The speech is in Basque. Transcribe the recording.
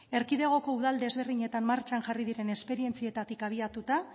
erkidegoko udal desberdinetan martxan jarri diren esperientzietatik abiatuta